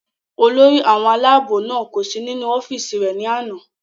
olórí àwọn aláàbò náà kò sí nínú ọ́fìsì rẹ̀ ní àná